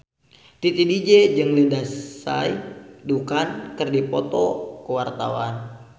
Titi DJ jeung Lindsay Ducan keur dipoto ku wartawan